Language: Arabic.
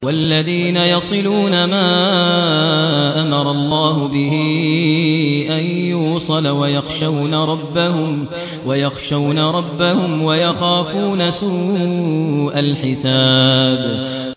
وَالَّذِينَ يَصِلُونَ مَا أَمَرَ اللَّهُ بِهِ أَن يُوصَلَ وَيَخْشَوْنَ رَبَّهُمْ وَيَخَافُونَ سُوءَ الْحِسَابِ